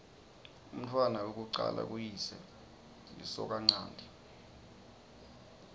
umntfwana wekucala kuyise lisokanchanti